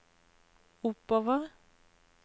oppover